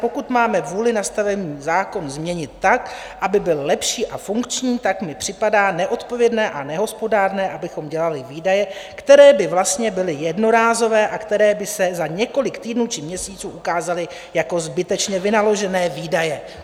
Pokud máme vůli nastavený zákon změnit tak, aby byl lepší a funkční, tak mi připadá neodpovědné a nehospodárné, abychom dělali výdaje, které by vlastně byly jednorázové a které by se za několik týdnů či měsíců ukázaly jako zbytečně vynaložené výdaje."